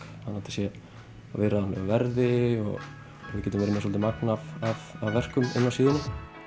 sé á viðráðanlegu verði og við getum verið með svolítið magn af verkum inni á síðunni